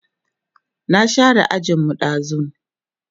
na share ajin mu ɗazun